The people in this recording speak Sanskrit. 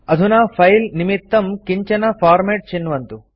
अधुना फाइल निमित्तं किञ्चन फॉर्मेट चिन्वन्तु